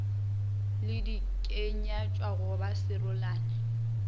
le dikenywatša go ba serolane